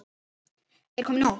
Er komið nóg?